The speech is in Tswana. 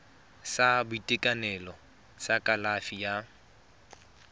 sa boitekanelo sa kalafi ya